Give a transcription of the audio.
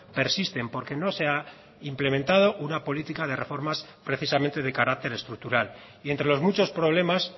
persisten porque no se ha implementado una política de reformas precisamente de carácter estructural y entre los muchos problemas